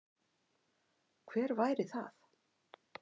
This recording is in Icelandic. Hver væri það?